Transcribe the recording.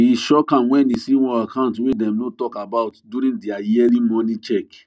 e shock am when e see one account wey dem no talk about during their yearly money check